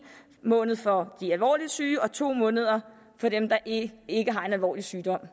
måned for de alvorligt syge og to måneder for dem der ikke har en alvorlig sygdom